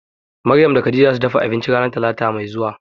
Maryam da Khadijah zasu dafa abinci ranan talata mai zuwa.